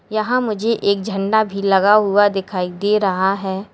यहां मुझे एक झंडा भी लगा हुआ दिखाई दे रहा है।